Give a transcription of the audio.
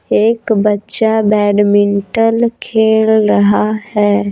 एक बच्चा बैडमिंटल खेल रहा है।